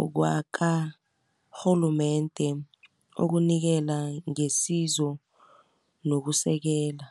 owakarhulumende okunikela ngesizo nokusekela.